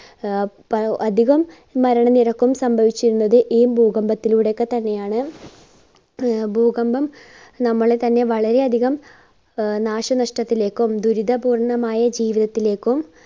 ആഹ് അധികം മരണ നിരക്കും സംഭവിച്ചിരുന്നത് ഈ ഭൂകമ്പത്തിലൂടെ ഒക്കെതന്നെയാണ്. ആഹ് ഭൂകമ്പം നമ്മളെ തന്നെ വളരെ അധികം ആഹ് നാശനഷ്ടത്തിലേക്കും ദുരിതപൂർണമായ ജീവിതത്തിലേക്കും